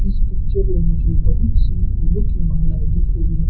इस पिक्चर में मुझे बहोत सी फूलों की मालाए दिख रही है--